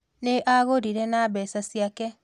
Nĩ agũrire na mbeca ciake